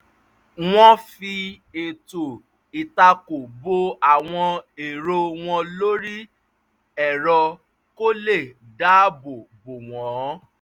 wọ́n fi ètò ìtako bo àwọn èrò wọn lórí ẹ̀rọ kó lè dáabò bo wọn